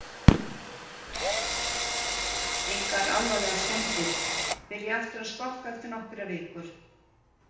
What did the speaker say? Engar alvarlegar skemmdir, byrja aftur að skokka eftir nokkrar vikur.